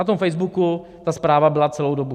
Na tom Facebooku ta zpráva byla celou dobu.